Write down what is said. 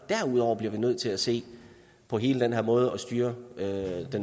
derudover bliver nødt til at se på hele den her måde at styre det